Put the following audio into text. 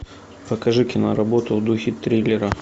покажи киноработу в духе триллера